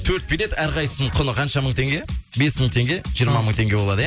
төрт билет әрқайсысының құны қанша мың теңге бес мың теңге жиырма мың теңге болады иә